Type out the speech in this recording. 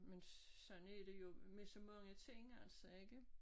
Men sådan er det jo med så mange ting altså ikke